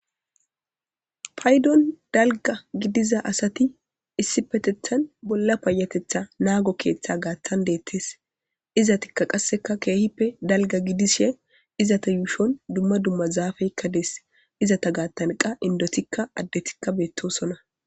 Paydon dalga gidiza asati issi petethan bolla payatetha naago keeththe gaaththan deettes izatikka qasseka keehippe dalga gidishe izata yuushon dumma dumma zaafeykka dees izata gaaththan qa indotikka addetikka beettosonna.